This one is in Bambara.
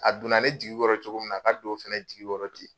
A donna ne jigi kɔrɔ cogo min na, a ka don o fɛnɛ jigi kɔrɔ ten.